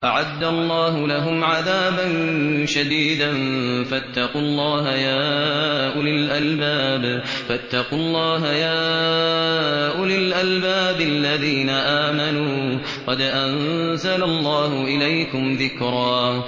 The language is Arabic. أَعَدَّ اللَّهُ لَهُمْ عَذَابًا شَدِيدًا ۖ فَاتَّقُوا اللَّهَ يَا أُولِي الْأَلْبَابِ الَّذِينَ آمَنُوا ۚ قَدْ أَنزَلَ اللَّهُ إِلَيْكُمْ ذِكْرًا